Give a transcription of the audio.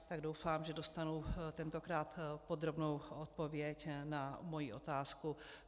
Tak doufám, že dostanu tentokrát podrobnou odpověď na svoji otázku.